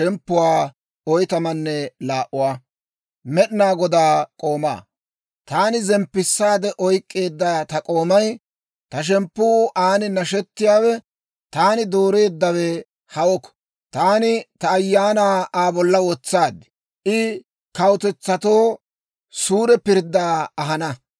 Taani zemppisaade oykeedda ta k'oomay, ta shemppuu aan nashetiyaawe, taani dooreeddawe hawoko. Taani ta Ayaanaa Aa bolla wotsaad; I kawutetsatoo suure pirddaa ahana.